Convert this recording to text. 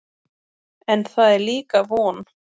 En það er líka von.